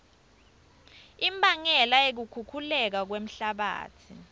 imbangela yekukhukhuleka kwemhlabatsi